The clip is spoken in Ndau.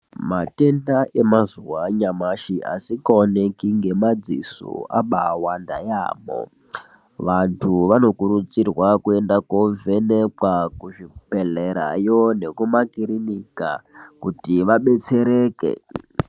Matenda emazuwa anyamashi asikaoneki ngemadziso abawanda yaamho. Vantu vanokudzirwa kuenda kovhenekwa kuchibhedhlerayo nekumakirinika kuti vabetsereke.